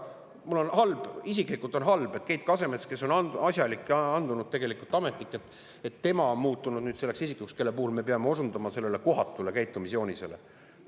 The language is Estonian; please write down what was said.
Mul isiklikult on halb, et Keit Kasemets, kes on asjalik ja andunud ametnik, on muutunud nüüd selleks isikuks, kelle puhul me peame osundama sellisele kohatule käitumisjoonisele.